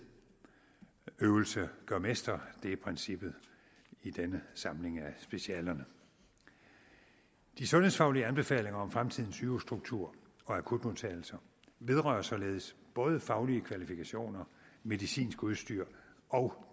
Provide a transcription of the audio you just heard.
øvelse gør mester er princippet i denne samling af specialerne de sundhedsfaglige anbefalinger om fremtidens sygehusstruktur og akutmodtagelse vedrører således både faglige kvalifikationer medicinsk udstyr og